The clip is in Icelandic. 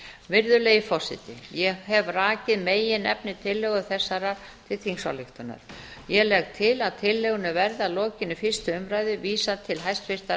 virðulegi forseti ég hef rakið meginefni tillögu þessarar til þingsályktunar ég legg til að tillögunni verði að lokinni fyrstu umræðu vísað til hæstvirtrar